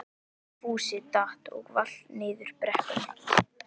Fúsi datt og valt niður brekkuna.